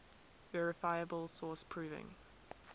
verifiable source proving